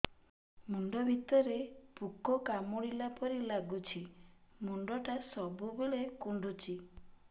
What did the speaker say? ମୁଣ୍ଡ ଭିତରେ ପୁକ କାମୁଡ଼ିଲା ପରି ଲାଗୁଛି ମୁଣ୍ଡ ଟା ସବୁବେଳେ କୁଣ୍ଡୁଚି